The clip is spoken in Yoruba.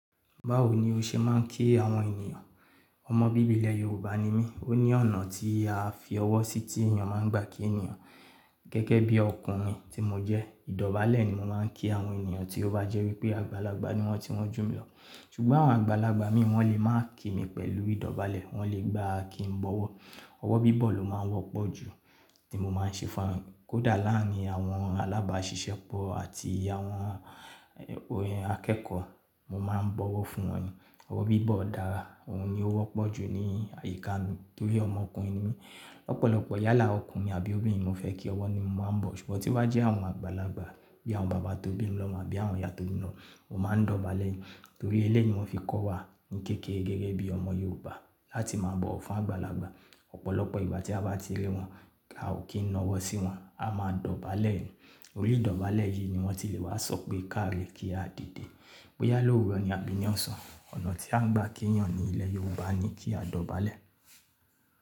Báwo ni o ṣe máa ń kí àwọn ènìyàn? Ọmọ bíbí ilẹ̀ Yorùbá ni mí, ó ní ọ̀nà tí a fi ọwọ́ sí tí èèyàn máa ń gbà kí ènìyàn. Gẹ́gẹ́ bí ọkùnrin tí mo jẹ́, ìdọ́balẹ́ ni mo máa ń kí àwọn ènìyàn tí ó bá jẹ́ wípé àgbàlagbà ni wọ́n tí wọ́n jù mí lọ. Ṣùgbọ́n àwọn àgbàlagbà mi i wọ́n lè máa kí mi pẹ̀lú ìdọ̀bálẹ̀, wọ́n lè gbà kí n bọ̀wọ̀. Ọwọ́ bíbọ̀ ló máa ń wọ́pọ̀ jù tí mo máa ń ṣe fún wọn. Kódà láàárín àwọn alábàásisẹ́pọ̀ àti àwọn akẹ́kọ̀ọ́, mo máa ń bọ̀wọ̀ fún wọn ni. Ọwọ́ bíbọ̀ dára, òun ni ó wọ́pọ̀ jù ní àyíká mi torí ọmọkùnrin ni mí. Lọ́pọ̀lọpọ̀ yálà ọkùnrin àbí obìnrin ni mo fẹ́ kí, ọwọ́ ni mo máa ń bọ̀. Ṣùgbọ́n tí ba jẹ́ àwọn àgbàlagbà bí i àwọn bàbá tó bí mi lọmo àbí àwọn ìyá tó bí mi lọmo, mo máa ń dọ̀bálẹ̀ ni. Torí eléyìí ni wọ́n fi kọ́ wa ní kékeré gẹ́gẹ́ bí ọmọ Yorùbá láti máa bọ̀wọ̀ fún àgbàlagbà. Ọ̀pọ̀lọpọ̀ ìgbà tí a bá ti rí wọn, a ò kí n nọ'wọ sí wọn, a máa dọ̀bálẹ̀ ni. Orí ìdọ̀bálẹ̀ yìí ni wọ́n ti lè wá sọ pé "kaare" kí a dìde, bóyá lọ́wùrọ ni àbí ní ọ̀sán. Ọ̀nà tí a ń gbà kí èèyàn ní ilẹ̀ Yorùbá ni kí a dọ̀bálẹ̀.